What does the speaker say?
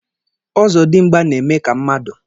Ọzọ dimgba na-eme ka mmadụ